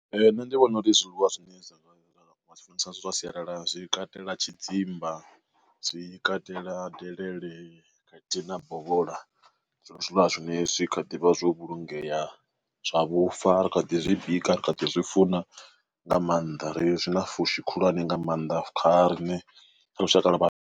Nṋe ndi vhona uri zwiḽiwa zwine nda zwi funesa zwa sialala zwi katela tshidzimba, zwi katela delele, kathi na bovhola, zwiṅwe zwiḽiwa zwi zwine zwi kha ḓivha zwo vhulungea zwa vhufa ri kha ḓi zwi bika ri kha ḓi zwi funa nga maanḓa ri zwi na fushi khulwane nga maanḓa kha riṋe lushaka lwa vha.